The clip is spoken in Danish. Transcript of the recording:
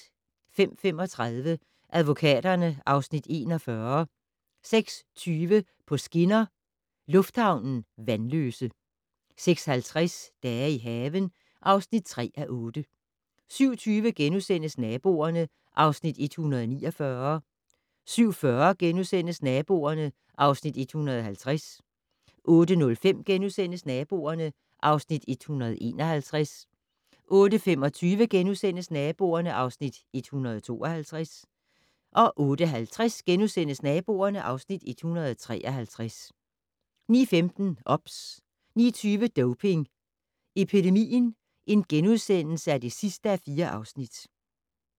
05:35: Advokaterne (Afs. 41) 06:20: På skinner: Lufthavnen - Vanløse 06:50: Dage i haven (3:8) 07:20: Naboerne (Afs. 149)* 07:40: Naboerne (Afs. 150)* 08:05: Naboerne (Afs. 151)* 08:25: Naboerne (Afs. 152)* 08:50: Naboerne (Afs. 153)* 09:15: OBS 09:20: Doping Epidemien (4:4)*